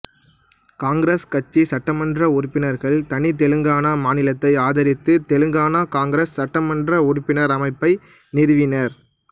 காங்கிரஸ் கட்சி சட்டமன்ற உறுப்பினர்கள் தனி தெலுங்கானா மாநிலத்தை ஆதரித்து தெலுங்கானா காங்கிரசு சட்டமன்ற உறுப்பினர் அமைப்பை நிறுவினர்